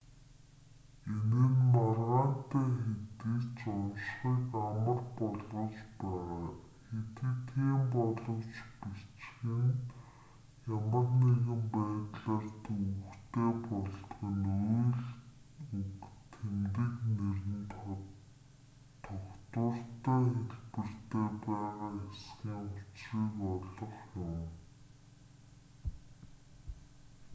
энэ нь маргаантай хэдий ч уншихыг амар болгож байгаа хэдий тийм боловч бичих нь ямар нэгэн байдлаар төвөгтэй болдог нь үйл үг тэмдэг нэр нь тогтвортой хэлбэртээ байгаа эсхийн учрыг олох юм